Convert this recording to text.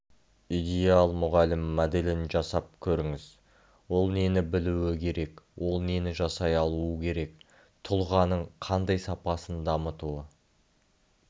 идеал мұғалім моделін жасап көріңіз ол нені білуі керек ол нені жасай алуы керек тұлғаның қандай сапасын дамытуы